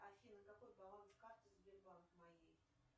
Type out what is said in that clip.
афина какой баланс карты сбербанк моей